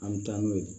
An bɛ taa n'o ye